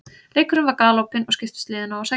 Leikurinn var galopinn og skiptust liðin á að sækja.